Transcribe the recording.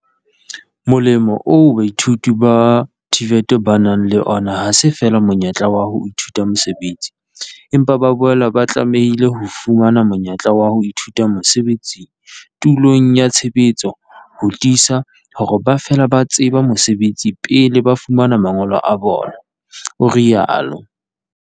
"Molemo oo baithuti ba TVET ba nang le ona ha se feela monyetla wa ho ithuta mosebetsi, empa ba boela ba tlamehile ho fumana monyetla wa ho ithuta mosebetsi tulong ya tshebetso ho tiisa hore ba fela ba tseba mosebetsi pele ba fumana mangolo a bona" o rialo.